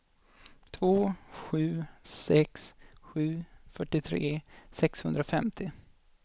två sju sex sju fyrtiotre sexhundrafemtio